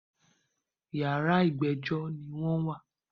Yàrá ìgbẹ́jọ́ ni wọ́n wà.